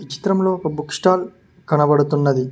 చిత్రంలో ఒక book stall కనబడుతూ ఉన్నది.